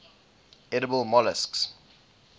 edible molluscs